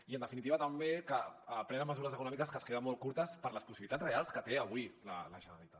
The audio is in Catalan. i en definitiva també que prenen mesures econòmiques que es queden molt curtes per les possibilitats reals que té avui la generalitat